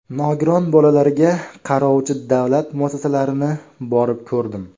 Nogiron bolalarga qarovchi davlat muassasalalarini borib ko‘rdim.